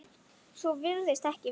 Svo virðist ekki vera.